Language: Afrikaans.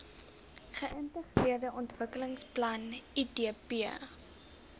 geintegreerde ontwikkelingsplan idp